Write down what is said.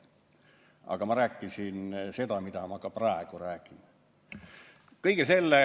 Aga ma rääkisin seda, mida ma ka praegu räägin.